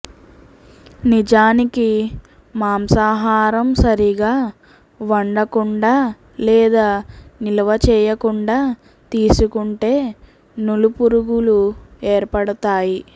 నిజానికి మాంసాహారం సరిగా వండకుండా లేదా నిల్వచేయకుండా తీసుకుంటే నులిపురుగులు ఏర్పడుతాయి